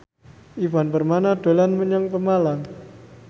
Ivan Permana dolan menyang Pemalang